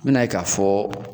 N me n'a ye k'a fɔ